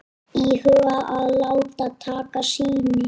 Íhuga að láta taka sýni